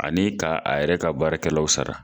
Ani ka a yɛrɛ ka baarakɛlaw sara.